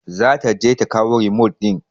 Za ta je ta kawo remote ɗin.